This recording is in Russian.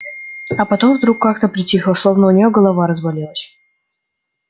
а потом вдруг как-то притихла словно у неё голова разболелась